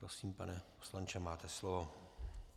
Prosím, pane poslanče, máte slovo.